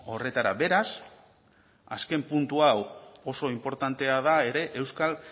horretara beraz azken puntu hau oso inportantea da ere euskal